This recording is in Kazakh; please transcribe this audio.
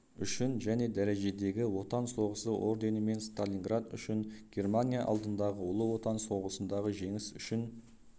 үшін және дәрежедегі отан соғысы орденімен сталиниград үшін германия алдындағы ұлы отан соғысындағы жеңіс үшін